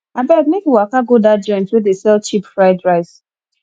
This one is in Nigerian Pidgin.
abeg make we waka go dat joint wey dey sell cheap fried rice